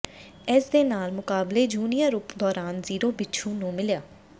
ਇਸ ਦੇ ਨਾਲ ਮੁਕਾਬਲੇ ਜੂਨੀਅਰ ਉਪ ਦੌਰਾਨ ਜ਼ੀਰੋ ਬਿਛੂ ਨੂੰ ਮਿਲਿਆ